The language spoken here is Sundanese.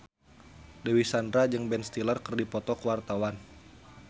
Dewi Sandra jeung Ben Stiller keur dipoto ku wartawan